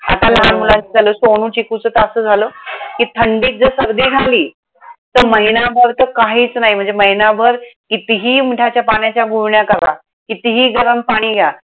आता हो लहान मुलांचं झालं. सोनू चिकूचं तर असं झालं, कि थंडीत जर सर्दी झाली. तर महिनाभर तर काहीच नाही, म्हणजे महिनाभर कितीही मिठाच्या पाण्याच्या गुळण्या करा, कितीही गरम पाणी घ्या.